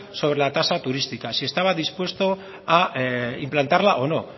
sobre la tasa turística si estaba dispuesto a implantarla o no